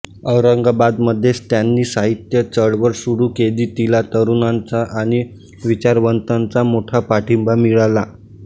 औरंगाबादमध्येच त्यांनी साहित्य चळवळ सुरू केली तिला तरुणांचा आणि विचारवंतांचा मोठा पाठिंबा मिळाला